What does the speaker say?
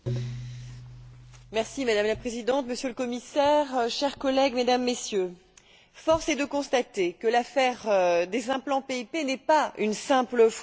Madame la Présidente, Monsieur le Commissaire, chers collègues, Mesdames et Messieurs, force est de constater que l'affaire des implants PIP n'est pas une simple fraude sanitaire nationale.